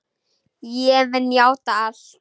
Ég mun játa allt.